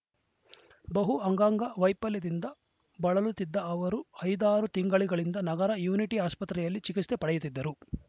ಬಹು ಅಂಗಾಂಗ ವೈಫಲ್ಯದಿಂದ ಬಳಲುತ್ತಿದ್ದ ಅವರು ಐದಾರು ತಿಂಗಳಿಂದ ನಗರದ ಯುನಿಟಿ ಆಸ್ಪತ್ರೆಯಲ್ಲಿ ಚಿಕಿತ್ಸೆ ಪಡೆಯುತ್ತಿದ್ದರು